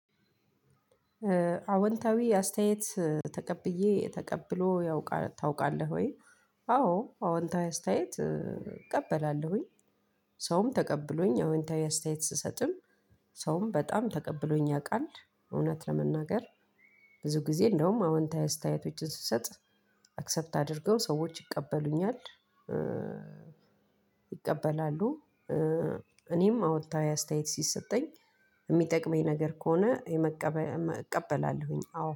አዎንታዊ አስተያየት ተቀብዬ ተቀብሎ ያውቃል ታውቃለህ ወይ? አዎ አዎንታዊ አስተያየት እቀበላለሁኝ። ሰውም ተቀብሎኝ አዎንታዊ አስተያየት ስሰጥም። ሰውም በጣም ተቀብሎኝ ያውቃል እውነት ለመናገር። ብዙ ጊዜ እንደውም አዎንታዊ አስተያየቶችን ስሰጥ አክሰፕት አድርገው ሰዎች ይቀበሉኛል። ይቀበላሉ። እኔም አወንታዊ አስተያየት ሲሰጠኝ የሚጠቅመኝ ነገር ከሆነ የመቀበል እቀበላለሁኝ አዎ